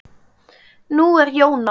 Nú er Jón á